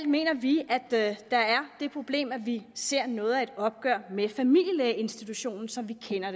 mener vi at der er det problem at vi ser noget af et opgør med familielægeinstitutionen som vi kender